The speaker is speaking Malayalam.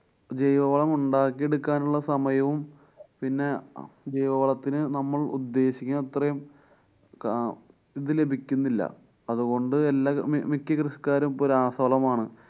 ജൈവവളം ഉണ്ടാക്കി എടുക്കാനുള്ള സമയവും പിന്നെ ജൈവവളത്തിന് നമ്മളു ഉദ്ദേശിക്കുന്ന അത്രേം കാ~ ഇതു ലഭിക്കുന്നില്ല. അതുകൊണ്ടുതന്നെ മി~ മിക്ക കൃഷിക്കാരും ഇപ്പോ രാസവളമാണ്